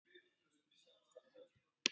Hvaða doktor?